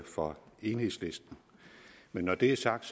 fra enhedslisten men når det er sagt